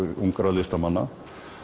listamanna